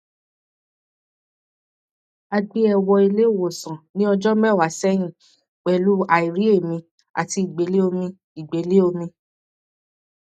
a gbé e wọ ilé ìwòsàn ní ọjọ mẹwàá sẹyìn pẹlú airi eemi àti ìgbélé omi ìgbélé omi